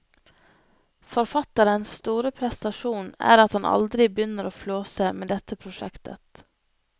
Forfatterens store prestasjon er at han aldri begynner å flåse med dette prosjektet.